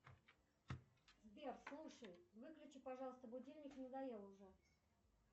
сбер слушай выключи пожалуйста будильник надоел уже